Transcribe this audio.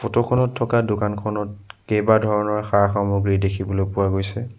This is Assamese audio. ফটো খনত থকা দোকানখনত কেইবা ধৰণৰ সা-সামগ্ৰী দেখিবলৈ পোৱা গৈছে।